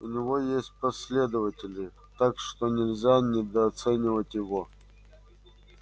у него есть последователи так что нельзя недооценивать его